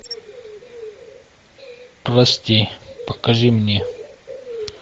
прости покажи мне